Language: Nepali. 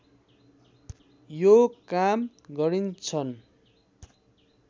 यो काम गरिन्छन्